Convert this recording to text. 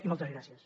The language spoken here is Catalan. i moltes gràcies